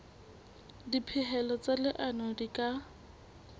dipehelo tsa leano di ka